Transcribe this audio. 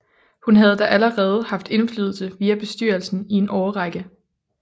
Hun havde da allerede haft indflydelse via bestyrelsen i en årrække